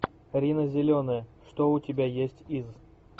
рина зеленая что у тебя есть из